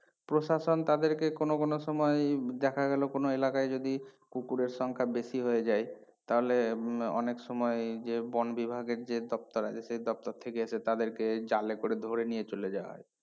প্রশাসন তাদেরকে কোনো কোনো সময় এই দেখা গেলো কোনো এলাকায় যদি কুকুরের সংখ্যা বেশি হয়ে যায় তাহলে উম অনেক সময় যে বনবিভাগের যে দপ্তর আছে সে দপ্তর থেকে এসে তাদেরকে জালে করে ধরে নিয়ে চলে যায়